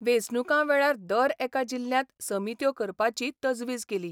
वेंचणुकां वेळार दर एका जिल्ल्यांत समित्यो करपाची तजवीज केली.